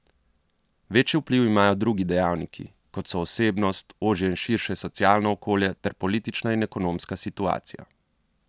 Večji vpliv imajo drugi dejavniki, kot so osebnost, ožje in širše socialno okolje ter politična in ekonomska situacija.